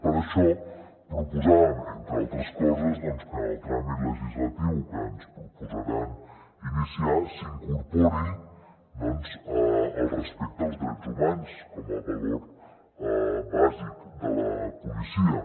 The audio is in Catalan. per això proposàvem entre altres coses que en el tràmit legislatiu que ens proposaran iniciar s’hi incorpori el respecte als drets humans com a valor bàsic de la policia